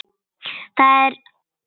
Þetta er kveðjan mín.